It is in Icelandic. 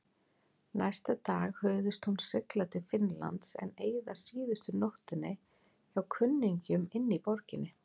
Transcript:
Næsta dag hugðist hún sigla til Finnlands en eyða síðustu nóttinni hjá kunningjum inní borginni.